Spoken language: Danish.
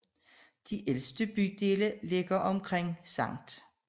De ældste bydele ligger omkring Skt